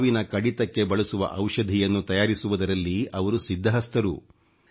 ಹಾವಿನ ಕಡಿತಕ್ಕೆ ಬಳಸುವ ಔಷಧಿಯನ್ನು ತಯಾರಿಸುವುದರಲ್ಲಿ ಅವರು ಸಿದ್ಧಹಸ್ತರು